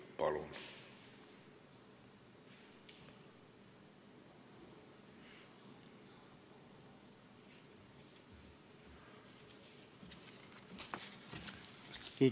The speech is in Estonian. Palun!